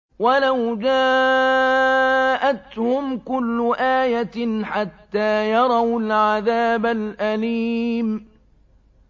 وَلَوْ جَاءَتْهُمْ كُلُّ آيَةٍ حَتَّىٰ يَرَوُا الْعَذَابَ الْأَلِيمَ